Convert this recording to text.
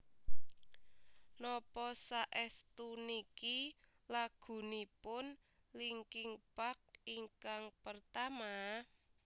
Napa saestu niki lagunipun Linkin Park ingkang pertama?